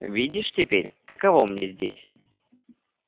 видишь теперь каково мне здесь